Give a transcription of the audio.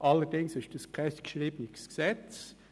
Allerdings war dies kein geschriebenes Gesetz.